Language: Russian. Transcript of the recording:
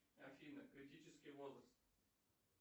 афина критический возраст